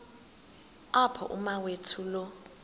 apho umawethu lo